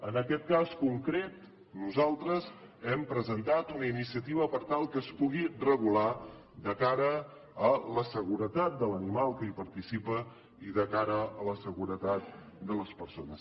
en aquest cas concret nosaltres hem presentat una iniciativa per tal que es pugui regular de cara a la seguretat de l’animal que hi participa i de cara a la seguretat de les persones